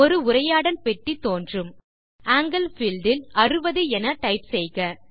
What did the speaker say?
ஒரு உரையாடல் பெட்டி தோன்றும் ஆங்கில் பீல்ட் இல் 60 என டைப் செய்க